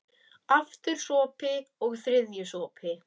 Aftur sopi, og þriðji sopi.